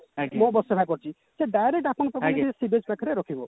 ମୋ bus ସେବା କରୁଛି ସେ direct ଆପଣଙ୍କ ପାଖକୁ ଆସିକି ରଖିବ